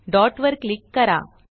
dot वर click करा